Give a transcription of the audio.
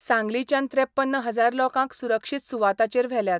सांगलीच्यान त्रेपन्न हजार लोकांक सुरक्षीत सुवाताचेर व्हेल्यात.